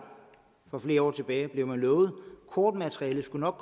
for flere år tilbage lovet at kortmaterialet nok